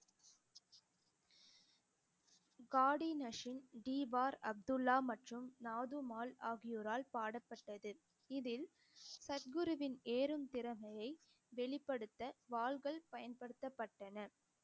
காடி நசீம், டிபார் அப்துல்லா மற்றும் நாது மால் ஆகியோரால் பாடப்பட்டது இதில் சத்குருவின் ஏறும் திறமைய வெளிப்படுத்த வாள்கள் பயன்படுத்தப்பட்டன